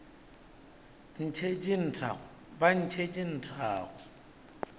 ntšhetše nthago ba ntšhetše nthago